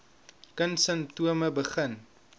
kind simptome begin